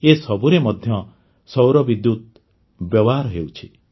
ଏସବୁରେ ମଧ୍ୟ ସୌର ବିଦ୍ୟୁତ ବ୍ୟବହାର ହେଉଛି